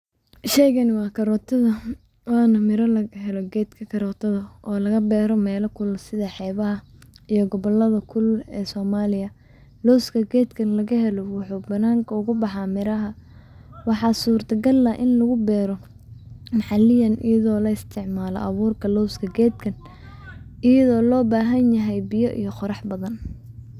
Sheygani waa karotada ,waana mira la beero geedka karootada ,oo laga beero meela kulul sida xeebaha iyo gobollada kulul ee Somaliya. Lowska gedkan kaga helo waxuu bananka ugu baxaa miraha .Waxaa surta gala ah in lagu beero maxalliyan iyadoo la isticmaalo abuurka loo sameeyo geedkan iyadoo loo baahan yahay biyo iyo qorrax badan.